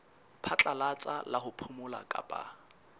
phatlalatsa la ho phomola kapa